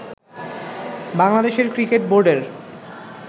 বাংলাদেশের ক্রিকেট বোর্ডের